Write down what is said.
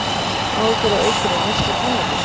Áhyggjur af aukinni neyslu kannabis